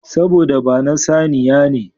Saboda ba na saniya ne.